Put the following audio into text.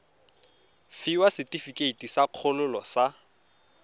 fiwa setefikeiti sa kgololo sa